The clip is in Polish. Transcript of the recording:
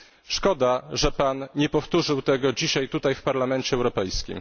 Szkoda, że Pan nie powtórzył dzisiaj tego tutaj w Parlamencie Europejskim.